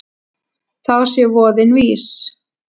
Þá sé voðinn vís.